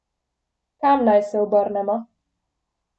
Kam naj se obrnemo?